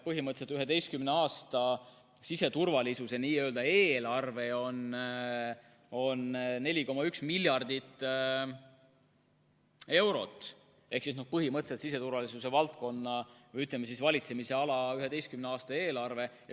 Põhimõtteliselt on 11 aasta siseturvalisuse eelarve 4,1 miljardit eurot, see on siseturvalisuse valdkonna või valitsemisala 11 aasta eelarve.